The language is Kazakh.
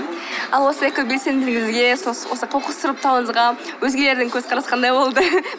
ал осы экобелсенділігіңізге осы қоқыс сұрыптауыңызға өзгелердің көзқарасы қандай болды